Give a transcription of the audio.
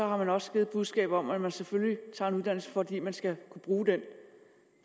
har man også givet et budskab om at man selvfølgelig tager en uddannelse fordi man skal kunne bruge den